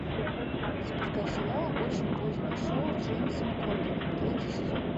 запускай сериал очень позднее шоу с джеймсом корденом третий сезон